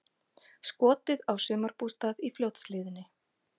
Skotið á sumarbústað í Fljótshlíðinni